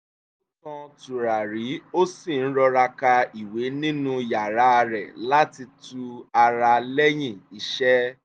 ó tan tùràrí ó sì ń rọra ka ìwé nínú yàrá rẹ láti tu ara lẹ́yìn iṣẹ́